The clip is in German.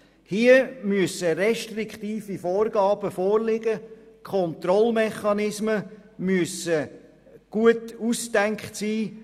Hier müssen restriktive Vorgaben vorliegen, Kontrollmechanismen müssen gut überlegt sein.